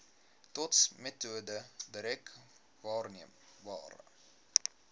dotsmetode direk waarneembare